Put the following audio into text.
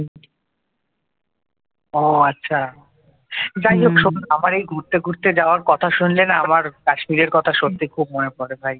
আমার এই ঘুরতে ঘুরতে যাওয়ার কথা শুনলে না আমার কাশ্মীরের কথা সত্যি খুব মনে পড়ে ভাই